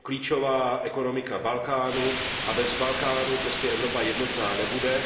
Je to klíčová ekonomika Balkánu a bez Balkánu prostě Evropa jednotná nebude.